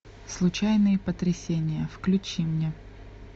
случайные потрясения включи мне